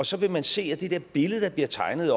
så vil man se at det der billede der bliver tegnet